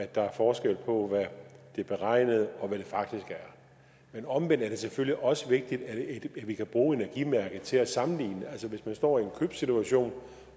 der er forskel på hvad det beregnede og hvad det faktiske er men omvendt er det selvfølgelig også vigtigt at vi kan bruge energimærket til at sammenligne altså hvis man står i en købssituation